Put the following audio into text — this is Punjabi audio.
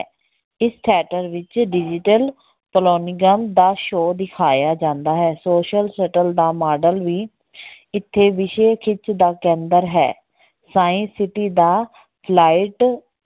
ਇਸ theater ਵਿੱਚ digital ਦਾ show ਦਿਖਾਇਆ ਜਾਂਦਾ ਹੈ। social ਦਾ ਮਾਡਲ ਵੀ ਇੱਥੇ ਖਿੱਚ ਦਾ ਕੇਂਦਰ ਹੈ science city ਦਾ flight